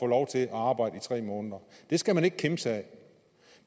lov til at arbejde i tre måneder det skal man ikke kimse ad